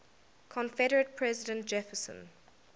confederate president jefferson